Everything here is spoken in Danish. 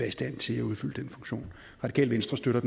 i stand til at udfylde den funktion radikale venstre støtter